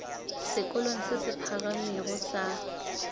sekolong se se phagamego sa